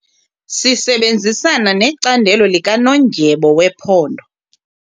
Sisebenzisana necandelo likanondyebo wephondo.